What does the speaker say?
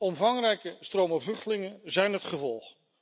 Omvangrijke stromen vluchtelingen zijn het gevolg.